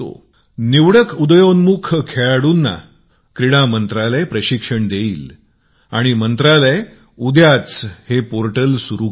निवडक विकसनशिल खेळाडूंना खेळ मंत्रालय प्रशिक्षण देईल आणि मंत्रालय उद्याच पोर्टलचे उद्घाटन करेल